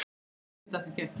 Get ekkert að því gert.